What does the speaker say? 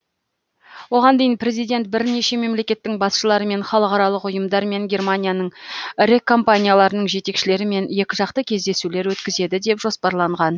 оған дейін президент бірнеше мемлекеттің басшыларымен халықаралық ұйымдар мен германияның ірі компанияларының жетекшілерімен екіжақты кездесулер өткізеді деп жоспарланған